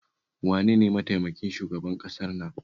Wane ne mataimakin shugaban ƙasar nan?